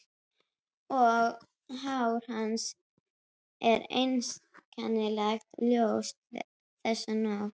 Og hár hans er einkennilega ljóst þessa nótt.